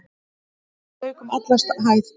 Vatn lak um alla hæð.